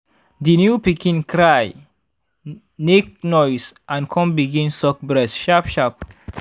the new pikin cry nake noise and come begin suck breast sharp sharp.